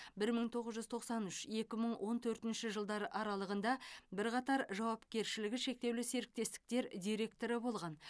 бір мың тоғыз жүз тоқсан үш екі мың он төртінші жылдар аралығында бірқатар жауапкершілігі шектеулі серіктестіктер директоры болған